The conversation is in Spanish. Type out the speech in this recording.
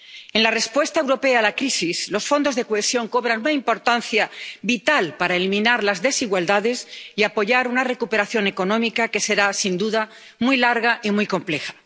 En la respuesta europea a la crisis, los Fondos de Cohesión cobran una importancia vital para eliminar las desigualdades y apoyar una recuperación económica que será sin duda muy larga y muy compleja.